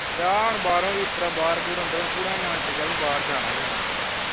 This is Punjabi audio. ਵਿਆਹੁਣ ਬਾਹਰੋਂ ਹੁਣ ਵੀਰ ਤੇਰਾ ਬਾਰਾਂ ਬੋਰ ਅੰਦਰੋਂ ਪੂਰਾ ਮਨ ਟਿਕਿਆ ਹੈ ਕਿ ਬਾਹਰ ਜਾਣਾ ਹੀ ਜਾਣਾ